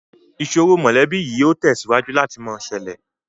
Ìsòro mọ́lẹ̀bi yìí ó tẹ̀síwájú láti mọ ṣẹlẹ̀